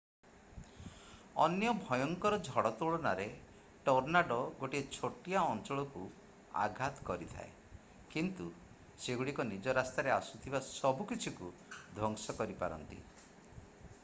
ଅନ୍ୟ ଭୟଙ୍କର ଝଡ଼ ତୁଳନାରେ ଟର୍ନାଡୋ ଗୋଟିଏ ଛୋଟ ଅଞ୍ଚଳକୁ ଆଘାତ କରିଥାଏ କିନ୍ତୁ ସେଗୁଡ଼ିକ ନିଜ ରାସ୍ତାରେ ଆସୁଥିବା ସବୁକିଛିକୁ ଧ୍ୱଂସ କରିପାରନ୍ତି